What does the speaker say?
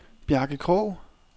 Bjarke Krogh